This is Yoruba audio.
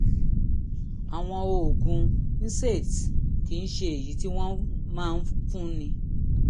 àwọn oògùn nsaids kì í ṣe èyí tí wọ́n máa ń fúnni